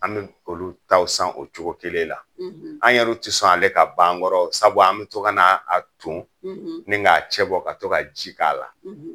An bɛ olu taw san o cogo kelen la. An yɛrɛw tɛ sɔn ale ka ban an kɔrɔ sabu an bɛ to kana a ton, , ni k'a cɛ bɔ ka to ka ji k'a la.